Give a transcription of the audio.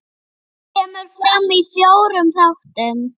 Kemur fram í fjórum þáttum.